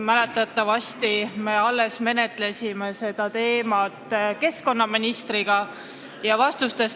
Mäletatavasti me alles arutasime seda teemat keskkonnaministriga.